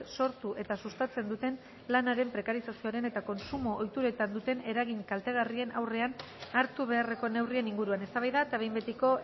sortu eta sustatzen duten lanaren prekarizazioaren eta kontsumo ohituretan duten eragin kaltegarrien aurrean hartu beharreko neurrien inguruan eztabaida eta behin betiko